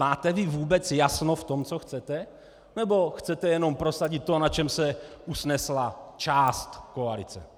Máte vy vůbec jasno v tom, co chcete, nebo chcete jenom prosadit to, na čem se usnesla část koalice?